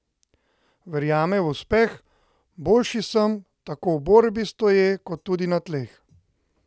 Verjame v uspeh: ''Boljši sem tako v borbi stoje kot tudi na tleh.